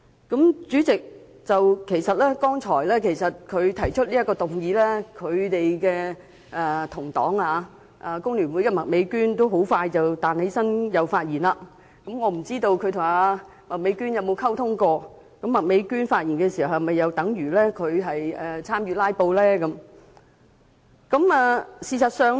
代理主席，其實他剛才提出這項議案時，他的工聯會黨友麥美娟議員很快便起立發言，不知他曾否與麥美娟議員作出溝通，麥美娟議員就議案發言又是否等於參與"拉布"？